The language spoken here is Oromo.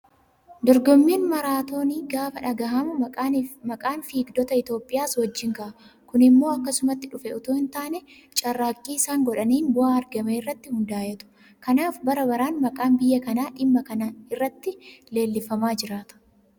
Dorgommiin maaraatoonii gaafa dhagahamu maqaan fiigdota Itoophiyaas wajjin ka'a. Kun immoo akkasumatti dhufe itoo hin taane carraaqqii isaan godhaniin bu'aa argame irratti hundaa'eetu. Kanaaf bara baraan maqaan biyya kanaa dhimma kana irratti leellifamaa jiraata.